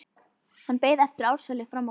Hann beið eftir Ársæli frammi á gangi.